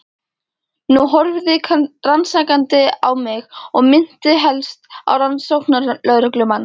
Hún horfði rannsakandi á mig og minnti helst á rannsóknarlögreglumann.